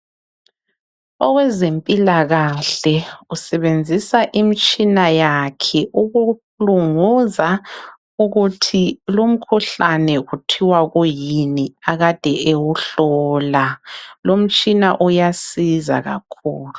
Owezempilakahle usebenzisa imitshina yakhe ukulunguza ukuthi lumkhuhlane kuthiwa kuyini akade ewuhlola, lumtshina uyasiza kakhulu.